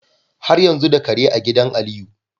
Har yanzu da Kare a idan aliyu